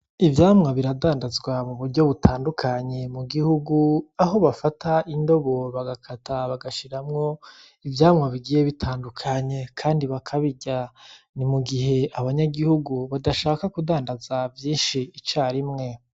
Ivyamwa biradandazwa mu buryo butandukanye mu gihugu , Aho bafata indobo bagakata bagashiramwo ivyamwa bigiye bitandukanye kandi bakabirya. Ni mugihe abanyagihugu badashaka kudandaza vyinshi icarimwe.